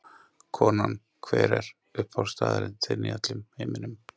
Konan Hver er uppáhaldsstaðurinn þinn í öllum heiminum?